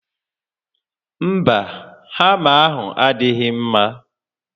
Mba, hama ahụ adịghị mma